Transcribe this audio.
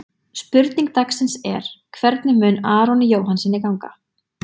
Spurning dagsins er: Hvernig mun Aroni Jóhannssyni ganga?